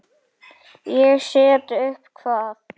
Ég set upp hvað?